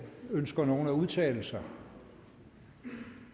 ønsker nogen at udtale sig